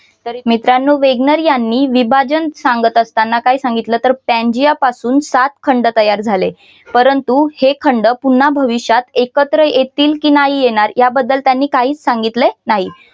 मित्रानो वेगनर यांनी आणि विभाजन सांगत असताना काय सांगितलं तर पांजिया पासून सात खंड तयार झाले परंतु हे खंड पुन्हा भविष्यात एकत्र येतील की नाही येणार याबद्दल त्यांनी काहीच सांगितले नाही.